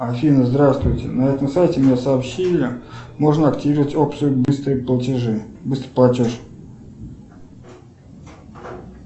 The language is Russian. афина здравствуйте на этом сайте мне сообщили можно активировать опцию быстрые платежи быстрый платеж